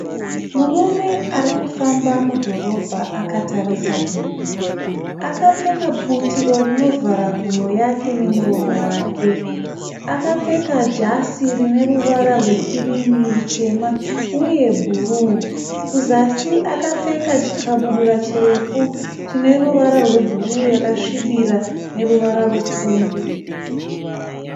Murume ari kufamba mudhorobha akatarisa divi. Akapfeka butiro rinovhara mhuno yake nemuromo wake. Akapfeka jasi rine ruvara rwekirimi, rutema uye bhuru. Kuzasi akapfeka chikabudura chirefu chine ruvara rwebhuru yakasvibira nepfumbu.